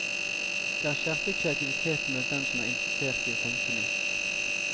Det har skjerpet kreativiteten blant dem som er interessert i å tenke nytt.